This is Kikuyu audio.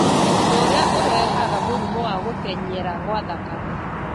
ũndũ ũrĩa ũrehaga mũrimũ wa gũtenyera gwa thakame.